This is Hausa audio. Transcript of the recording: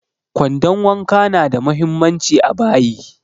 Kwandon wanka na da muhimmanci a bayi